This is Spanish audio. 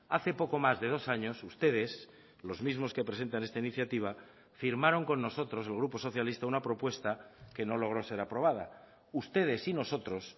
hace poco más de dos años ustedes los mismos que presentan esta iniciativa firmaron con nosotros el grupo socialista una propuesta que no logró ser aprobada ustedes y nosotros